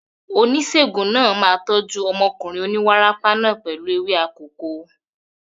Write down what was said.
Oníṣègùn náà máa tọ́jú ọmọkùnrin oníwárápá náà pẹ̀lú ewé akòko.